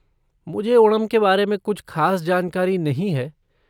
मुझे ओणम के बारे में कुछ ख़ास जानकारी नहीं है।